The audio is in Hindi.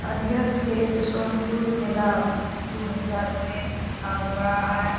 और यह छेत सोनपुर मेला दो हज़ार उनइस लिखा हुआ है। .